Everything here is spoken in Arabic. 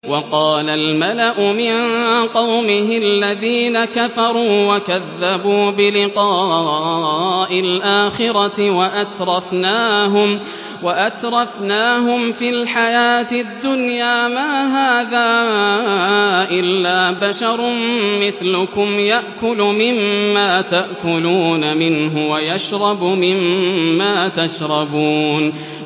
وَقَالَ الْمَلَأُ مِن قَوْمِهِ الَّذِينَ كَفَرُوا وَكَذَّبُوا بِلِقَاءِ الْآخِرَةِ وَأَتْرَفْنَاهُمْ فِي الْحَيَاةِ الدُّنْيَا مَا هَٰذَا إِلَّا بَشَرٌ مِّثْلُكُمْ يَأْكُلُ مِمَّا تَأْكُلُونَ مِنْهُ وَيَشْرَبُ مِمَّا تَشْرَبُونَ